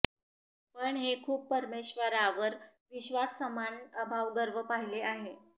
पण हे खूप परमेश्वरावर विश्वास समान अभाव गर्व पाहिले आहे